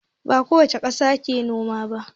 Ba kowace ƙasa ke noma ba.